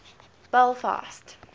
belfast